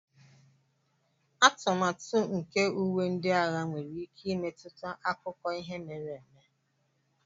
atụmatụ nke uwe ndị agha nwere ike imetụta akụkọ ihe mere eme